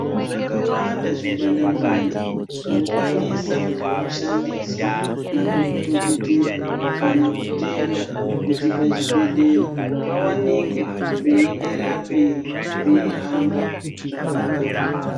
Zvakawanda zvingwanda-ngwanda zvinokwanisa kushandiswa nadhogodheya, kana mutenda kuti pachibhedhleya pavanikwe peienderera mberi pei hamba zvakanaka.